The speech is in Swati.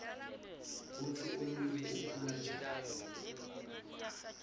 kutsi umuntfu ukhula njani